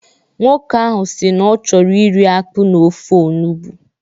Nwoke ahu si na ọ chọrọ iri akpụ na ofe olugbu.